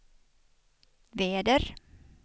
väder